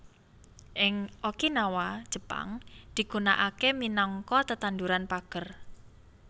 Ing Okinawa Jepang digunaaké minangka tetanduran pager